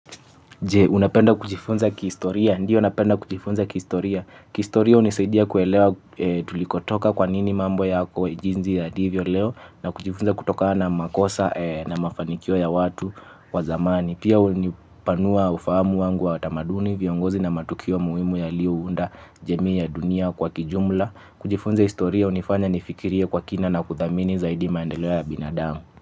Unapenda kujifunza kihistoria? Ndio napenda kujifunza kihistoria. Kihistoria hunisaidia kuelewa tulikotoka, kwa nini mambo yako jinsi yalivyo leo na kujifunza kutokana na makosa na mafanikio ya watu wa zamani. Pia hunipanua ufahamu wangu wa tamaduni, viongozi na matukio muhimu yaliyounda jamii ya dunia kwa kijumla. Kujifunza historia hunifanya nifikirie kwa kina na kuthamini zaidi maendeleo ya binadamu.